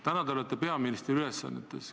Täna te olete peaministri ülesannetes.